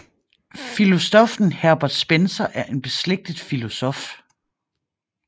Filosoffen Herbert Spencer er en beslægtet filosof